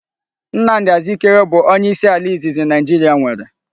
Nnamdi Azikiwe bu onye isi ala izizi Naijiria nwere